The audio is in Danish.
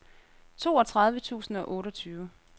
toogtredive tusind og otteogtyve